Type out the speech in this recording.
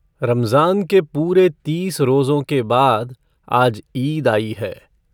रमज़ान के पूरे तीस रोज़ों के बाद आज ईद आई है।